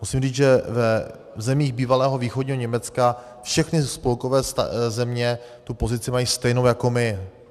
Musím říct, že v zemích bývalého východního Německa všechny spolkové země tu pozici mají stejnou jako my.